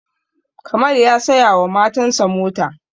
kamal ya saya wa matan sa mota